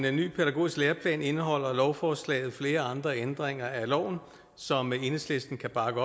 en ny pædagogisk læreplan indeholder lovforslaget flere andre ændringer af loven som enhedslisten kan bakke